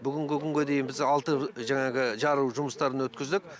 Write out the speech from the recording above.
бүгінгі күнге дейін біз алты жаңағы жару жұмыстарын өткіздік